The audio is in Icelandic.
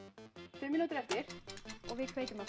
fimm mínútur eftir og við kveikjum aftur